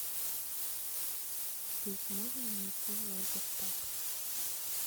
здесь можно найти лазер таг